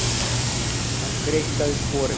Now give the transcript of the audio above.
Hann greikkaði sporið.